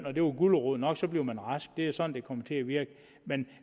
og det var gulerod nok så blev man rask det er sådan det kommer til at virke men